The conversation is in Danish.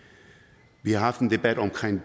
vi har før haft en debat om